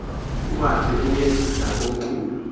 uhambe uye nakomkhulu